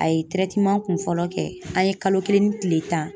A ye kun fɔlɔ kɛ an ye kalo kelen ni tile tan